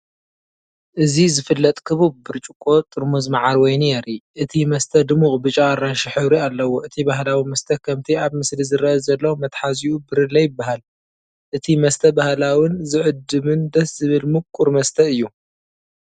እዚ ዝፍለጥ ክቡብ ብርጭቆ ጥርሙዝ መዓር ወይኒ የርኢ። እቲ መስተ ድሙቕ ብጫ ኣራንሺ ሕብሪ ኣለዎ። እቲ ባህላዊ መስተ ከምቲ ኣብ ምስሊ ዝርአ ዘሎ መትሓዚኡ ብርለ ይበሃል። እቲ መስተ ባህላውን ዝዕድምን ደስ ዝበል ሙቁር መሰተ እዩ።